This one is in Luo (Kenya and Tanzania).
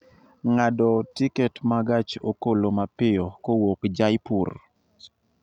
ng'ado tiket ma gach okolomapiyo kowuok jaipur